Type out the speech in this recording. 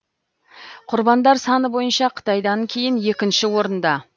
құрбандар саны бойынша қытайдан кейін екінші орында